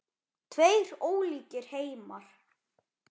Tveir ólíkir heimar.